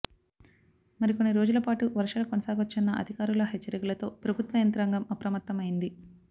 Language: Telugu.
మరికొన్ని రోజుల పాటు వర్షాలు కొనసాగొచ్చన్న అధికారుల హెచ్చరికలతో ప్రభుత్వ యంత్రాంగం అప్రమత్తం అయింది